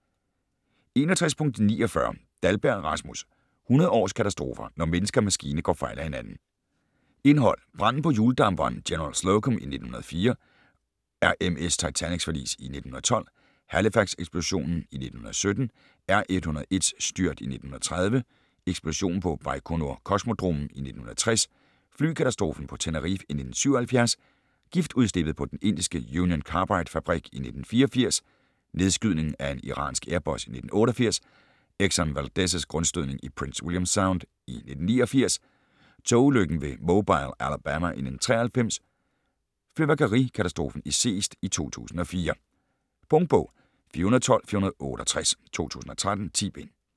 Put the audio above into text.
61.49 Dahlberg, Rasmus: 100 års katastrofer: når menneske og maskine går fejl af hinanden Indhold: Branden på hjuldamperen General Slocum i 1904, RMS Titanics forlis i 1912, Halifax-eksplosionen i 1917, R.101's styrt i 1930, Eksplosionen på Bajkonur-kosmodromen i 1960, Flykatastrofen på Tenerife i 1977, Giftudslippet på den indiske Union Carbide-fabrik i 1984,Nedskydningen af en iransk Airbus i 1988, Exxon Valdez' grundstødning i Prince William Sound i 1989, Togulykken ved Mobile, Alabama i 1993, Fyrværkerikatastrofen i Seest i 2004. Punktbog 412468 2013. 10 bind.